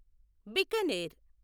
Bikaner